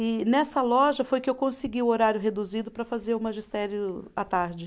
E nessa loja foi que eu consegui o horário reduzido para fazer o magistério à tarde.